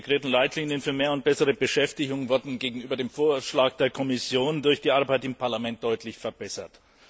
Die integrierten Leitlinien für mehr und bessere Beschäftigung wurden gegenüber dem Vorschlag der Kommission durch die Arbeit im Parlament deutlich verbessert.